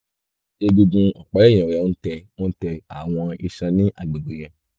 egungun ọ̀pá ẹ̀yìn rẹ ń tẹ ń tẹ àwọn iṣan ní agbègbè yẹn